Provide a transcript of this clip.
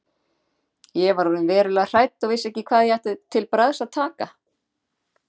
Ég var orðin verulega hrædd og vissi ekki hvað ég ætti til bragðs að taka.